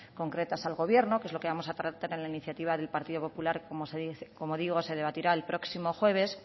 concretas al gobierno que es lo que vamos a tratar en la iniciativa del partido popular como digo se debatirá el próximo jueves